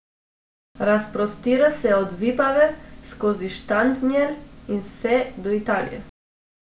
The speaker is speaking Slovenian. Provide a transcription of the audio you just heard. Razprostira se od Vipave, skozi Štanjel in vse do Italije.